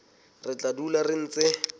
re tla dula re ntse